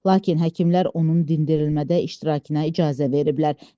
Lakin həkimlər onun dindirilmədə iştirakına icazə veriblər.